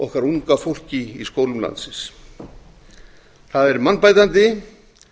okkar unga fólki í skólum landsins það er mannbætandi